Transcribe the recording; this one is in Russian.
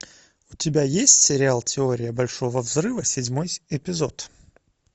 у тебя есть сериал теория большого взрыва седьмой эпизод